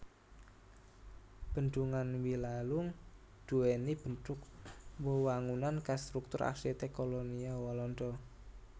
Bendhungan Wilalung duwéni bentuk wewangunan khas struktur arsitek kolonial Walanda